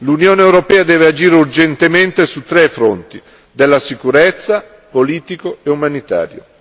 L'Unione europea deve agire urgentemente su tre fronti della sicurezza, politico e umanitario.